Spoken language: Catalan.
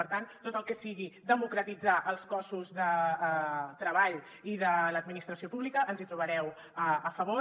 per tant en tot el que sigui democratitzar els cossos de treball i de l’administra·ció pública ens hi trobareu a favor